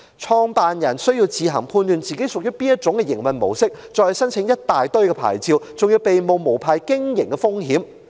創辦人需要自行判斷其場所屬於哪種營運模式，從而申請一大堆牌照，還要冒着被控無牌經營的風險。